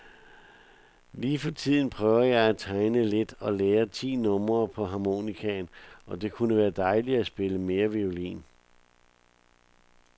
Lige for tiden prøver jeg at tegne lidt, og lære ti numre på harmonikaen, og det kunne være dejligt at spille mere violin.